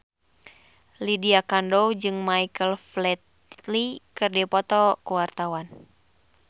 Lydia Kandou jeung Michael Flatley keur dipoto ku wartawan